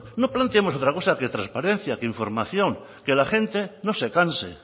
no planteamos otra cosa que transparencia e información que la gente no se canse